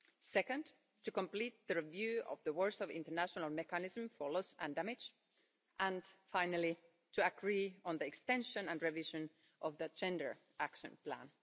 Second, to complete the review of the Warsaw International Mechanism for Loss and Damage, and finally to agree on the extension and revision of the Gender Action Plan.